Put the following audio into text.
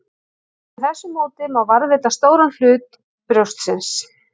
Með þessu móti má varðveita stóran hluta brjóstsins.